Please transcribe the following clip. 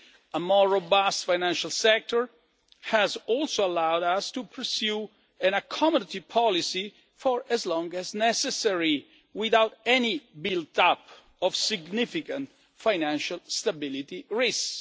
SMEs. A more robust financial sector has also allowed us to pursue an accommodative policy for as long as necessary, without any build up of significant financial stability risks.